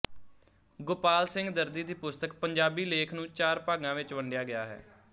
ਗੋਪਾਲ ਸਿੰਘ ਦਰਦੀ ਦੀ ਪੁਸਤਕ ਪੰਜਾਬੀ ਲੇਖ ਨੂੰ ਚਾਰ ਭਾਗਾਂ ਵਿੱਚ ਵੰਡਿਆ ਗਿਆ ਹੈ